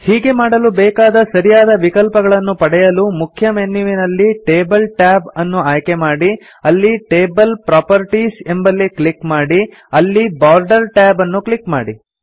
ಹೀಗೆ ಮಾಡಲು ಬೇಕಾದ ಸರಿಯಾದ ವಿಕಲ್ಪಗಳನ್ನು ಪಡೆಯಲು ಮುಖ್ಯಮೆನ್ಯುವಿನಲ್ಲಿ ಟೇಬಲ್ ಟ್ಯಾಬ್ ಅನ್ನು ಆಯ್ಕೆ ಮಾಡಿ ಅಲ್ಲಿ ಟೇಬಲ್ ಪ್ರಾಪರ್ಟೀಸ್ ಎಂಬಲ್ಲಿ ಕ್ಲಿಕ್ ಮಾಡಿ ಅಲ್ಲಿ ಬಾರ್ಡರ್ Tab ಅನ್ನು ಕ್ಲಿಕ್ ಮಾಡಿ